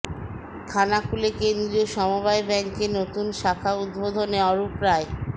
খানাকুলে কেন্দ্রীয় সমবায় ব্যাঙ্কের নতুন শাখা উদ্বোধনে অরূপ রায়